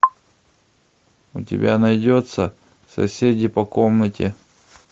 у тебя найдется соседи по комнате